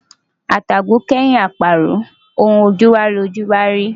Atàgò kẹ́yin àparò, ohun ojú wá lojú ń bá a rí.